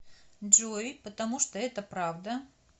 джой потому что это правда